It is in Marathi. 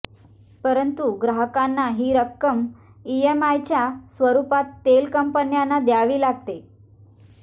परंतु ग्राहकांना ही रक्कम ईएमआयच्या स्वरुपात तेल कंपन्यांना द्यावी लागते